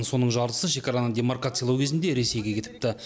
соның жартысы шекараны демаркациялау кезінде ресейге кетіпті